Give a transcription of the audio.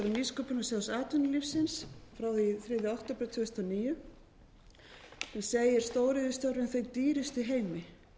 nýsköpunarsjóðs atvinnulífsins frá því þriðja október tvö þúsund og níu sem segir stóriðjustörf þau dýrustu í heimi